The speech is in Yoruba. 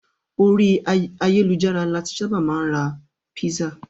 Ori ayelujara lo ti saba maa n ra pisa